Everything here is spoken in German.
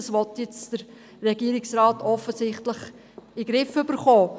Offensichtlich will der Regierungsrat das jetzt in den Griff bekommen.